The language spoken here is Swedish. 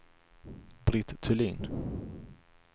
Britt Thulin